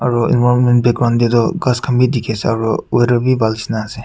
Aru environment background teh tu ghas khan be dikhise aru weather be bhal nisna ase.